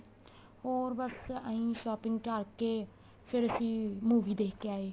ਹੋਰ ਬੱਸ ਇਹੀ shopping ਕਰ ਕੇ ਫੇਰ ਅਸੀਂ movie ਦੇਖ ਕੇ ਆਏ